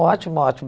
ótimo, ótimo.